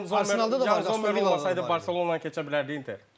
Yəni Yan Zommer olmasaydı Barcelona keçə bilərdi Inter.